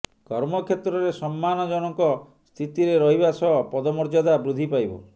କର୍ମକ୍ଷେତ୍ରରେ ସମ୍ମାନଜନକ ସ୍ଥିତିରେ ରହିବା ସହ ପଦମର୍ଯ୍ୟାଦା ବୃଦ୍ଧି ପାଇବ